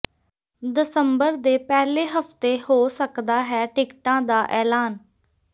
ਦਸੰਬਰ ਦੇ ਪਹਿਲੇ ਹਫਤੇ ਹੋ ਸਕਦਾ ਹੈ ਟਿਕਟਾਂ ਦਾ ਐਲਾਨ